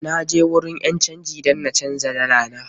Na je wurin ƴan canji dan na canja dala na.